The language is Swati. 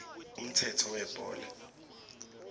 umthetho webhola